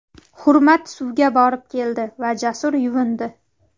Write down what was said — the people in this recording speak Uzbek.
Hurmat suvga borib keldi va Jasur yuvindi.